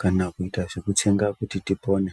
kana kuita zvekutsenga kuti tipone.